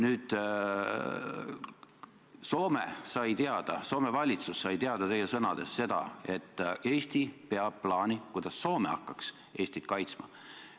Nüüd sai Soome teada, Soome valitsus sai teie sõnadest teada seda, et Eesti peab plaani, kuidas Soome hakkaks Eestit kaitsma.